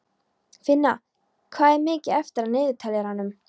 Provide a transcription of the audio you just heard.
Finna, hvað er mikið eftir af niðurteljaranum?